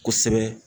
Kosɛbɛ